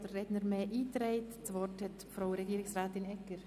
Das Wort hat Regierungsrätin Egger.